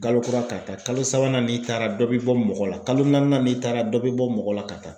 Kalo kura ka taa kalo sabanan n'i taara dɔ bɛ bɔ mɔgɔ la kalo naaninan n'i taara dɔ bi bɔ mɔgɔ la ka taa.